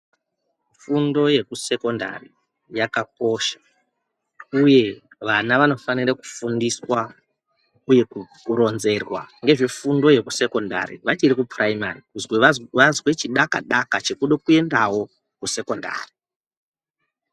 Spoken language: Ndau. Fundo yekusekondari yakakosha. Uye vana vanofanira kufundiswa uye kuronzerwa ngezvefundo yekusekondari vachiri kupuraimari. Kuti vazwe chidaka daka chekuda kuenda wo kusekondari.